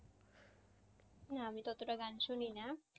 না আমি তো অতটা গান শুনি না।